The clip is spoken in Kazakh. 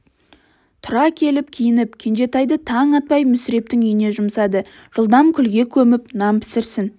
тұра келіп киініп кенжетайды таң атпай мүсірептің үйіне жұмсады жылдам күлге көміп нан пісірсін